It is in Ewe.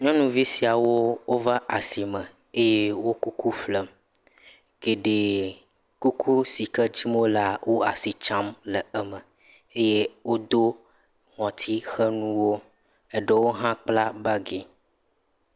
Nyɔnuvi siawo wova asime eye wo kuku ƒlem. Geɖee, kuku si ke dim wolea, wo asi tsam le eme. Wodo ŋutitxenuwo, eɖewo hã kpla bagi.